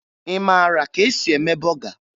Ị mara ka e si eme bọga?